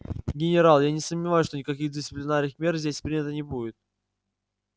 генерал я не сомневаюсь что никаких дисциплинарных мер здесь принято не будет